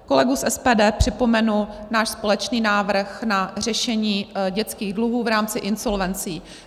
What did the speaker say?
Kolegům z SPD připomenu náš společný návrh na řešení dětských dluhů v rámci insolvencí.